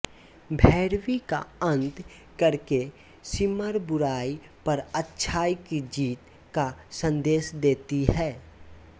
भैरवी का अंत करके सिमर बुराई पर अच्छाई की जीत का संदेश देती है